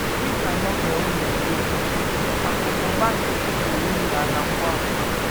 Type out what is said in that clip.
Dị ka Novel na - egosi, akụ̀ na ụba nkịtị pụrụ imi ala ngwa ngwa.